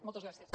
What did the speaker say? moltes gràcies